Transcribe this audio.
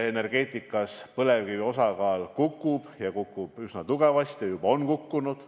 Põlevkivi osakaal energeetikas kukub ja see kukub üsna tugevasti, juba ongi kukkunud.